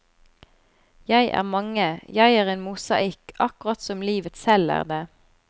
Jeg er mange, jeg er en mosaikk akkurat som livet selv er det.